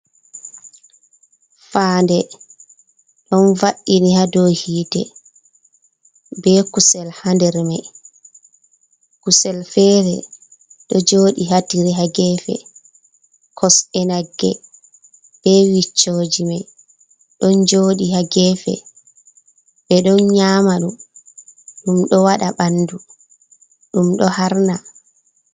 Faaɗe ɗon va'ini ha dou hite be kusel ha nder mai kusel fere do joɗi hatire ha gefe kosɗe nagge be wiccoji mai don jodi ha gefe be ɗon nyama ɗum ɗo wada ɓandu ɗum ɗo Harna.